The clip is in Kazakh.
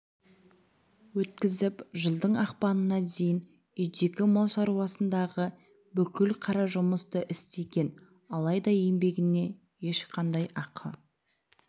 өткізіп жылдың ақпанына дейін үйдегі мал шаруасындағы бүкіл қара жұмысты істеген алайда еңбегіне ешқандай ақы